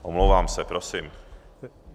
Omlouvám se, prosím.